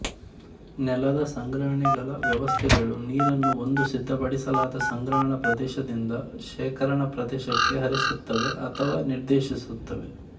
ನೆಲದ ಸಂಗ್ರಹಣೆಗಳ ವ್ಯವಸ್ಥೆಗಳು ನೀರನ್ನು ಒಂದು ಸಿದ್ಧಪಡಿಸಲಾದ ಸಂಗ್ರಹಣಾ ಪ್ರದೇಶದಿಂದ ಶೇಖರಣಾ ಪ್ರದೇಶಕ್ಕೆ ಹರಿಸುತ್ತವೆ ಅಥವಾ ನಿರ್ದೇಶಿಸುತ್ತವೆ